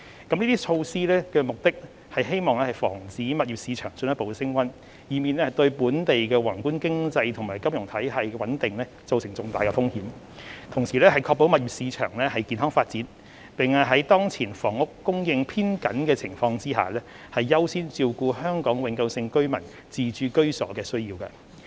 這些措施旨在防止物業市場進一步升溫，以免對本地宏觀經濟和金融體系的穩定造成重大風險；確保物業市場健康發展；並於當前房屋供應偏緊的情況下，優先照顧香港永久性居民自置居所的需要。